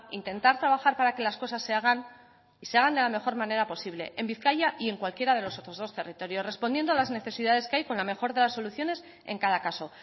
intentar trabajar para que las cosas se hagan de la mejor manera posible en bizkaia y en cualquiera de los otros dos territorios respondiendo a las necesidades que hay con la mejor de las soluciones en cada caso